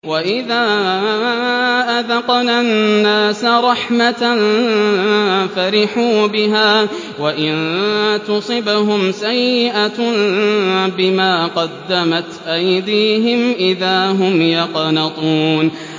وَإِذَا أَذَقْنَا النَّاسَ رَحْمَةً فَرِحُوا بِهَا ۖ وَإِن تُصِبْهُمْ سَيِّئَةٌ بِمَا قَدَّمَتْ أَيْدِيهِمْ إِذَا هُمْ يَقْنَطُونَ